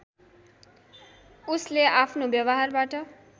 उसले अफ्नो व्यवहारबाट